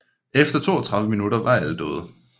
Efter 32 minutter var alle døde